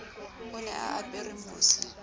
o ne a apere mose